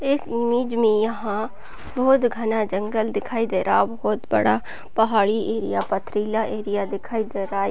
इस इमेज में यहाँ बहोत घना जंगल दिखाई दे रहा बहोत बड़ा पहाड़ी एरिया पथरीला एरिया दिखाई दे रहा है।